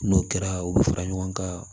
N'o kɛra u bi fara ɲɔgɔn kan